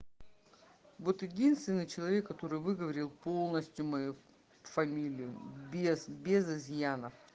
вот единственный человек который выговорил полностью мою фамилию без без изъяна